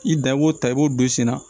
I dan i b'o ta i b'o don sen na